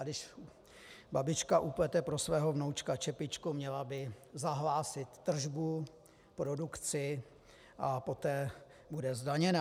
A když babička uplete pro svého vnoučka čepičku, měla by zahlásit tržbu, produkci a poté bude zdaněna.